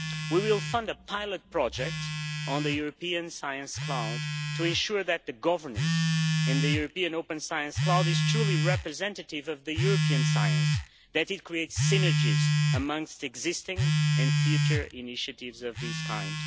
We will fund a pilot project on the European Science Cloud to ensure that the governance in the European Open Science Cloud is truly representative of European science, that it create synergies amongst existing and future initiatives of this kind.